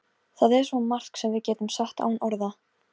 Það er svo margt sem við getum sagt án orða.